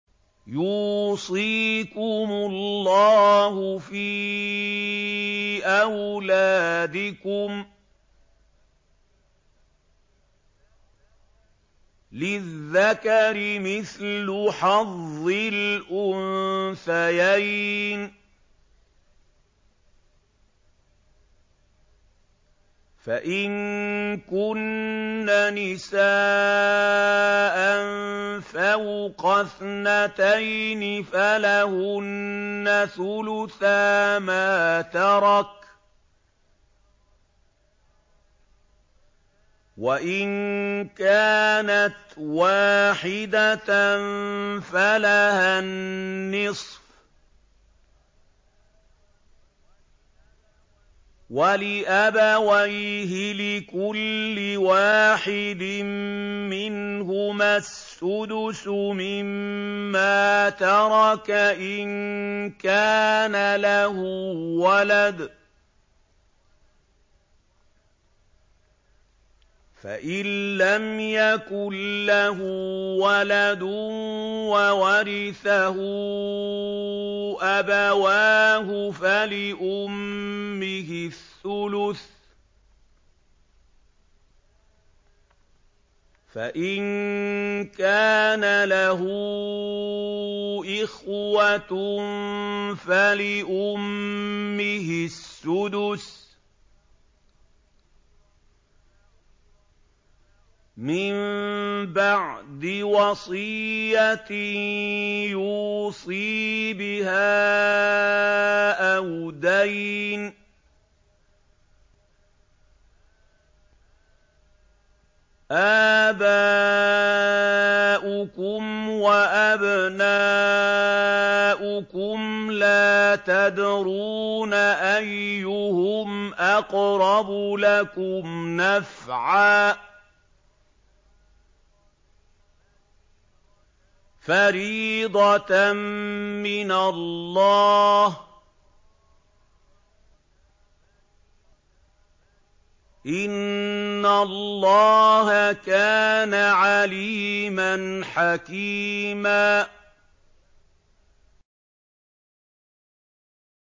يُوصِيكُمُ اللَّهُ فِي أَوْلَادِكُمْ ۖ لِلذَّكَرِ مِثْلُ حَظِّ الْأُنثَيَيْنِ ۚ فَإِن كُنَّ نِسَاءً فَوْقَ اثْنَتَيْنِ فَلَهُنَّ ثُلُثَا مَا تَرَكَ ۖ وَإِن كَانَتْ وَاحِدَةً فَلَهَا النِّصْفُ ۚ وَلِأَبَوَيْهِ لِكُلِّ وَاحِدٍ مِّنْهُمَا السُّدُسُ مِمَّا تَرَكَ إِن كَانَ لَهُ وَلَدٌ ۚ فَإِن لَّمْ يَكُن لَّهُ وَلَدٌ وَوَرِثَهُ أَبَوَاهُ فَلِأُمِّهِ الثُّلُثُ ۚ فَإِن كَانَ لَهُ إِخْوَةٌ فَلِأُمِّهِ السُّدُسُ ۚ مِن بَعْدِ وَصِيَّةٍ يُوصِي بِهَا أَوْ دَيْنٍ ۗ آبَاؤُكُمْ وَأَبْنَاؤُكُمْ لَا تَدْرُونَ أَيُّهُمْ أَقْرَبُ لَكُمْ نَفْعًا ۚ فَرِيضَةً مِّنَ اللَّهِ ۗ إِنَّ اللَّهَ كَانَ عَلِيمًا حَكِيمًا